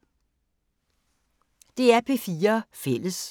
DR P4 Fælles